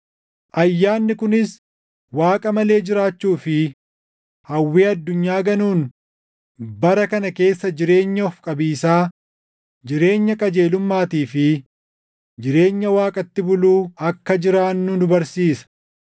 Ayyaanni kunis Waaqa malee jiraachuu fi hawwii addunyaa ganuun bara kana keessa jireenya of qabiisaa, jireenya qajeelummaatii fi jireenya Waaqatti buluu akka jiraannu nu barsiisa;